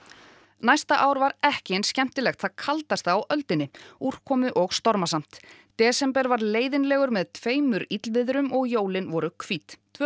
næsta ár var ekki eins skemmtilegt það kaldasta á öldinni úrkomu og stormasamt desember var leiðinlegur með tveimur illviðrum og jólin voru hvít tvö